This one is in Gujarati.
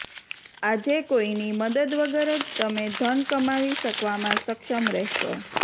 આજે કોઈની મદદ વગર જ તમે ધન કમાવી શકવામાં સક્ષમ રહેશો